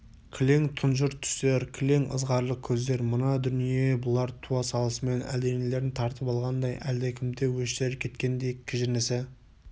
кілең тұнжыр түстер кілең ызғарлы көздер мына дүние бұлар туа салысымен әлденелерін тартып алғандай әлдекімде өштері кеткендей кіжінісі